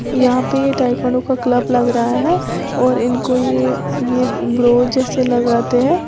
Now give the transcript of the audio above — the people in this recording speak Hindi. यहां पे ताइक्वांडो का क्लब लग रहा है और इनको ये ब्रो जैसे लगाते हैं।